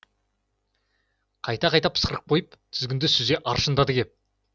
қайта қайта пысқырып қойып тізгінді сүзе аршындады кеп